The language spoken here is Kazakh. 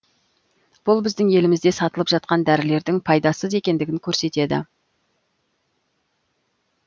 бұл біздің елімізде сатылып жатқан дәрілердің пайдасыз екендігін көрсетеді